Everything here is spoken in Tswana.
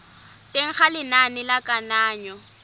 teng ga lenane la kananyo